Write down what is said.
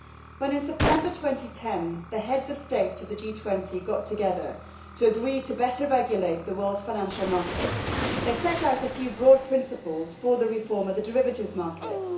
When, in September 2010, the Heads of State of the G20 got together to agree to better regulate the world's financial markets, they set out a few broad principles for the reform of the derivatives markets.